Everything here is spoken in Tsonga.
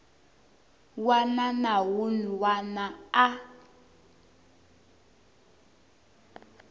wana na wun wana a